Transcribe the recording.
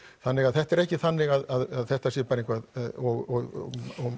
þannig að þetta er ekki þannig að þetta sé bara eitthvað og